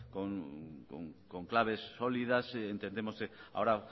con claves sólidas entendemos que ahora